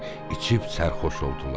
İçib sərxoş oldular.